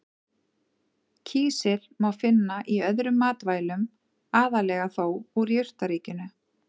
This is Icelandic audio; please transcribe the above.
Kísil má finna í öðrum matvælum, aðallega þó úr jurtaríkinu.